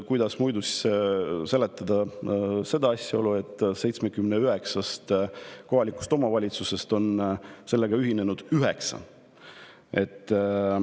Kuidas muidu seletada asjaolu, et 79 kohalikust omavalitsusest on sellega ühinenud vaid üheksa?